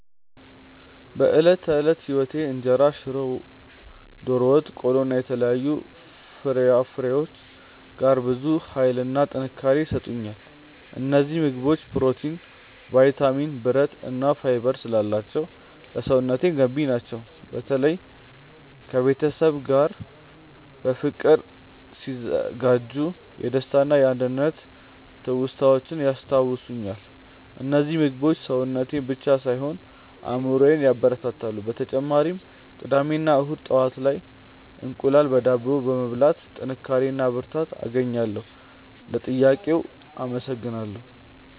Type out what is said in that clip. በዕለት ተዕለት ሕይወቴ ውስጥ እንጀራ፣ ሽሮ፣ ዶሮ ወጥ፣ ቆሎ እና የተለያዩ ፍራፍሬዎች ጋር ብዙ ኃይልና ጥንካሬ ይሰጡኛል። እነዚህ ምግቦች ፕሮቲን፣ ቫይታሚን፣ ብረት እና ፋይበር ስላላቸው ለሰውነቴ ገንቢ ናቸው። በተለይ ከቤተሰብ ጋር በፍቅር ሲዘጋጁ የደስታና የአንድነት ትውስታዎችን ያስታውሱኛል። እነዚህ ምግቦች ሰውነቴን ብቻ ሳይሆን አእምሮዬንም ያበረታታሉ። በተጨማሪም ቅዳሜ እና እሁድ ጠዋት ላይ እንቁላል በዳቦ በመብላት ጥንካሬ እና ብርታት አገኛለሁ። ለጥያቄው አመሰግናለሁ።